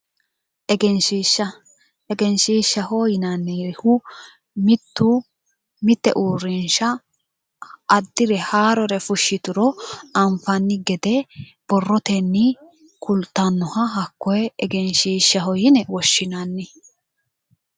Egenshishsha, Egenshishsha yinnanihu mitu mite uurrinsha addire haarore fushituro anfanni gede borroteni ku'lattanoha hakkoe yine woshshinanni.